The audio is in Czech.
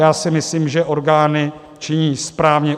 Já si myslím, že orgány činí správně.